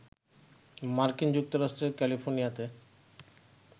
মার্কিন যুক্তরাষ্ট্রের ক্যালিফোর্নিয়াতে